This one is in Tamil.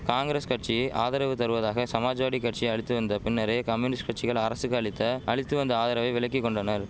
காங்கிரஸ் கட்சி ஆதரவு தருவதாக சமாஜ்வாடி கட்சி அளித்து வந்த பின்னரே கம்யூனிஸ்ட் கட்சிகள் அரசுக்கு அளித்த அளித்து வந்த ஆதரவை விலக்கி கொண்டனர்